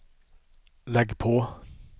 lägg på